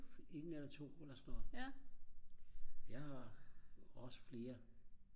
1 eller 2 eller sådan noget jeg har også flere